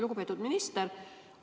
Lugupeetud minister!